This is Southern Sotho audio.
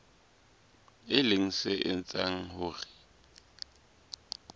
e leng se etsang hore